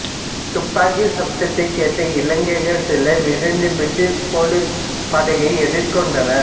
துப்பாக்கிச் சப்தத்தைக் கேட்ட இளைஞர்கள் சிலர் விரைந்து பிரிட்டிஷ் போலீஸ் படையை எதிர்கொண்டனர்